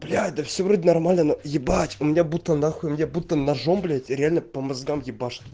блять да все вроде нормально но ебать у меня будто на хуй у меня будто ножом блять реальнопо мозгам ебашит